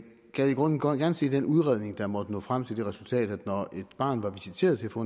gad i grunden godt se den udredning der måtte nå frem til det resultat at når et barn var visiteret til at få